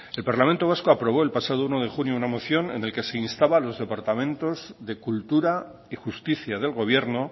el parlamento vasco aprobó el pasado uno de junio una moción en la que se instaba a los departamentos de cultura y justicia del gobierno